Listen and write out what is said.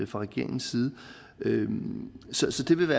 fra regeringens side så så det vil